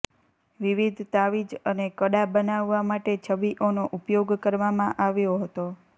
વિવિધ તાવીજ અને કડા બનાવવા માટે છબીઓનો ઉપયોગ કરવામાં આવ્યો હતો